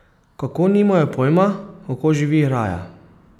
Kako nimajo pojma, kako živi raja?